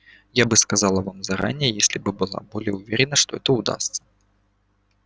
я бы сказала вам заранее если бы была более уверена что это удастся